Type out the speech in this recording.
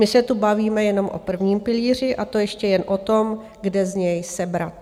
My se tu bavíme jenom o prvním pilíři, a to ještě jen o tom, kde z něj sebrat.